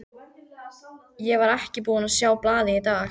Ég var ekki búinn að sjá blaðið í dag.